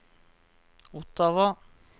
Ottawa